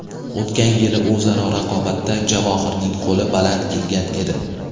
O‘tgan yili o‘zaro raqobatda Javohirning qo‘li baland kelgan edi.